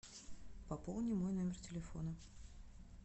пополни мой номер телефона